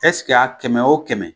a kɛmɛ wo kɛmɛ